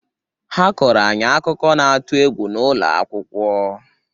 Ha kọọrọ anyị akụkọ n'atụ egwu n’ụlọ akwụkwọ